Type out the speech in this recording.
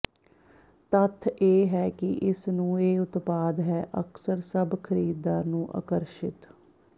ਤੱਥ ਇਹ ਹੈ ਕਿ ਇਸ ਨੂੰ ਇਹ ਉਤਪਾਦ ਹੈ ਅਕਸਰ ਸਭ ਖਰੀਦਦਾਰ ਨੂੰ ਆਕਰਸ਼ਿਤ